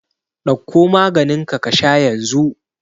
Ɗauko maganinka ka sha yanzu!